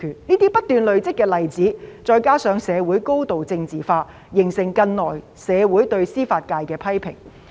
這些不斷累積的例子，再加上社會高度政治化，形成近來社會對司法界的批評。